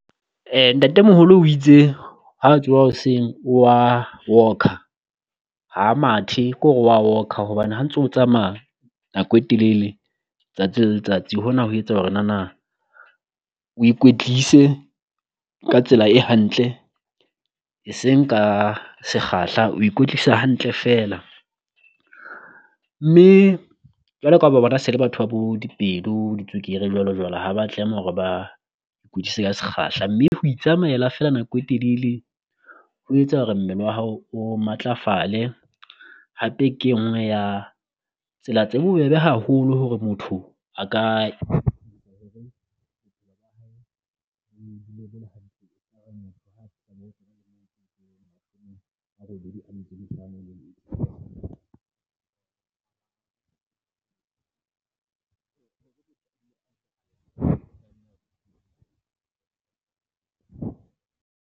Ntatemoholo o itse ha tsoha hoseng o wa walk-a ha mathe kore wa walk-a, hobane ha ntso tsamaya nako e telele tsatsi le letsatsi hona ho etsa hore nana o ikwetlise ka tsela e hantle eseng ka sekgahla. O ikwetlisa hantle feela mme jwalo ka ha o ba bona se le batho ba bo di pelo di tswekere jwalo jwalo ha ba tlameha hore ba ka sekgahla, mme ho itsamaela feela nako e telele ho etsa hore mmele wa hao o matlafale. Hape ke enngwe ya tsela tse bobebe haholo hore motho a ka